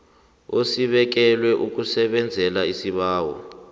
esibekelwe ukusebenza isibawo